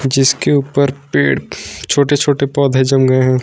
जिसके ऊपर पेड़ छोटे छोटे पौधे जम गए हैं।